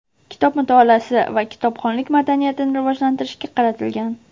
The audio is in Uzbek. kitob mutolaasi va kitobxonlik madaniyatini rivojlantirishga qaratilgan.